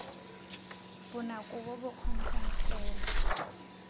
bonako bo bo kgonegang fela